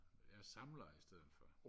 jeg samler i stedet for